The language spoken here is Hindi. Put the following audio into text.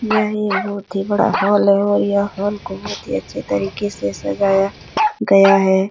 यह ही बहुत बड़ा हॉल है और यह हॉल को बहुत ही अच्छी तरीके से सजाया गया है।